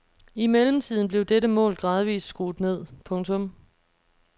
I mellemtiden blev dette mål gradvist skruet ned. punktum